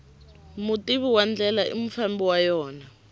mutivi wa ndlela i mufambi wa yona